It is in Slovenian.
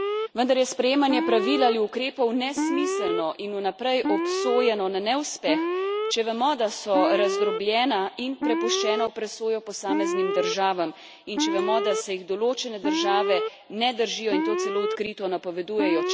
Vendar je sprejemanje pravil ali ukrepov nesmiselno in vnaprej obsojeno na neuspeh, če vemo, da so razdrobljena in prepuščena v presojo posameznim državam, in če vemo, da se jih določene države ne držijo in to celo odkrito napovedujejo.